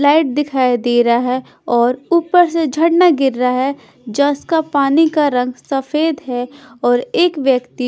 light दिखाई दे रहा है और ऊपर से झरना गिर रहा है जस का पानी का रंग सफेद है और एक व्यक्ति--